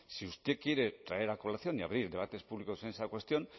si usted quiere traer a colación y abrir debates públicos en esa cuestión